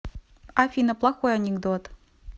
афина плохой анекдот